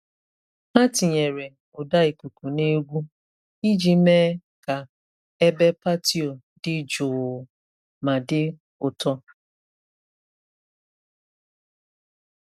Ha tinyere ụda ikuku na egwu iji mee ka ebe patio dị jụụ ma dị ụtọ.